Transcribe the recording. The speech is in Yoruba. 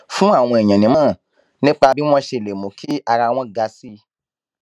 fún àwọn èèyàn nímòràn nípa bí wón ṣe lè mú kí ara wọn ga sí i